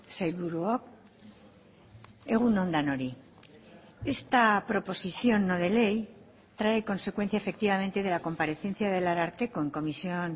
sailburuok egun on denoi esta proposición no de ley trae consecuencia efectivamente de la comparecencia del ararteko en comisión